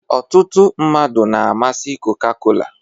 ọtụtụ mmadụ na-amasị coca-cola